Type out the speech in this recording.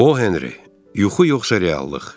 O Henri, yuxu yoxsa reallıq.